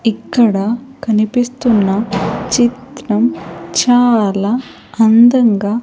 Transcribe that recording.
ఇక్కడ కనిపిస్తున్న చిత్రం చాలా అందంగా--